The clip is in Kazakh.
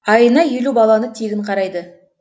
айына елу баланы тегін қарайды